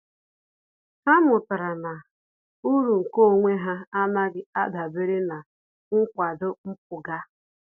Há mụ́tàrà na uru nke onwe ha ánàghị́ ádàbèré na nkwado mpụga.